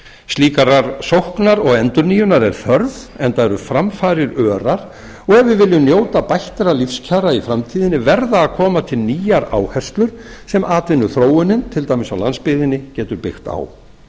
slíkrar sóknar og endurnýjunar er þörf enda eru framfarir örar og ef við viljum njóta bættra lífskjara í framtíðinni verða að koma til nýjar áherslur sem atvinnuþróunin til dæmis á landsbyggðinni getur byggt á